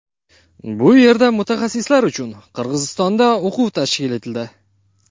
Bu yerdagi mutaxassislar uchun Qirg‘izistonda o‘quv tashkil etildi.